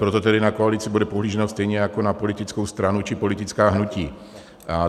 Proto tedy na koalici bude pohlíženo stejně jako na politickou stranu či politická hnutí.